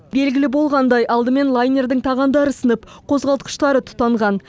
белгілі болғандай алдымен лайнердің тағандары сынып қозғалтқыштары тұтанған